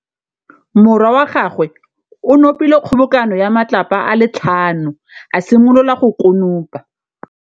Morwa wa gagwe o nopile kgobokanô ya matlapa a le tlhano, a simolola go konopa.